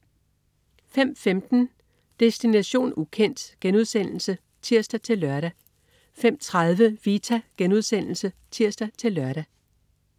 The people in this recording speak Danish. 05.15 Destination ukendt* (tirs-lør) 05.30 Vita* (tirs-lør)